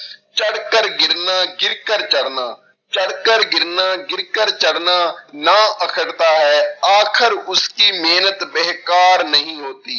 ਚੜਕਰ ਗਿਰਨਾ ਗਿਰਕਰ ਚੜ੍ਹਨਾ, ਚੜਕਰ ਗਿਰਨਾ ਗਿਰਕਰ ਚੜ੍ਹਨਾ ਨਾ ਹੈ ਆਖਰ ਉਸ ਕੀ ਮਿਹਨਤ ਬੇਕਾਰ ਨਹੀਂ ਹੋਤੀ